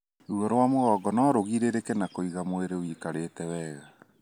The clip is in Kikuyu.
Ruo wa mugongo no ũgirĩrĩrike na kũiga mwĩrĩ wĩikarĩte wega.